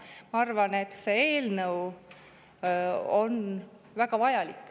Ma arvan, et see eelnõu on väga vajalik.